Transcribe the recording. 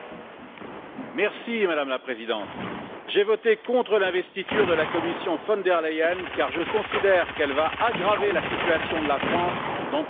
Madame la Présidente, j'ai voté contre l'investiture de la Commission von der Leyen, car je considère qu'elle va aggraver la situation de la France dans trois domaines essentiels.